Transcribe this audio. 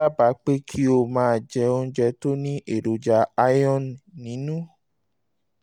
mo dábàá pé kí o máa jẹ oúnjẹ tó ní èròjà iron nínú